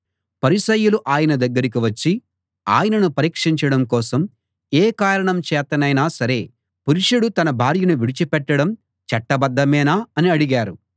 పరిసయ్యులు ఆయన దగ్గరికి వచ్చి ఆయనను పరీక్షించడం కోసం ఏ కారణం చేతనైనా సరే పురుషుడు తన భార్యను విడిచిపెట్టడం చట్టబద్ధమేనా అని అడిగారు